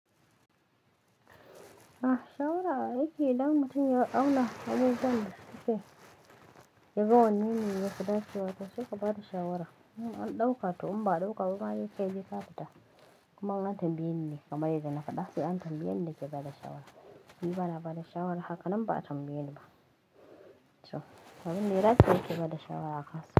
Ah shawara aiki idan mutum ya auna abin da zai sake yaga wannene ya fi dacewa wata sai ka ba da shawara. In an ɗauka to in ba a ɗauka ba ma kai dai ka fita, kuma in tambaye ne kamar yadda na faɗa sai an tambaye ni na ke bada shawara. Ni bana bada shawara haka nan ba a tambaye ni ba. To abun da ya dace nake bada shawara a kan sa.